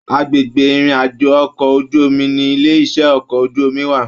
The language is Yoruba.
Agbègbè ìrìn àjò okọ̀ ojú omi ní ilé iṣẹ okọ̀ ojú omi wà.